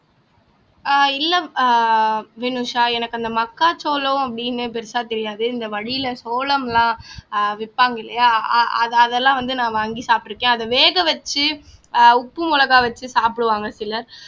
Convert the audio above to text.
ஆஹ் இல்ல ஆஹ் வினுஷா எனக்கு அந்த மக்காச்சோளம் அப்படின்னு பெருசா தெரியாது இந்த வழியில சோளம்லாம் ஆஹ் விப்பாங்க இல்லையா அது அதெல்லாம் வந்து நான் வாங்கி சாப்பிட்டிருக்கேன் அத வேக வச்சு உப்பு மிளகாய் வச்சு சாப்பிடுவாங்க சிலர்